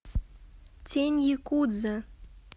тень якудза